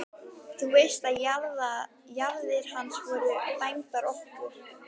Þú veist að jarðir hans voru dæmdar okkur!